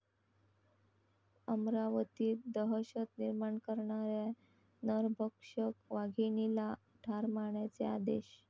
अमरावतीत दहशत निर्माण करणाऱ्या नरभक्षक वाघिणीला ठार मारण्याचे आदेश